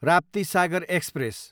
Raptisagar express